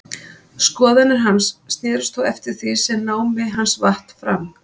Skoðanir hans snerust þó eftir því sem námi hans vatt fram.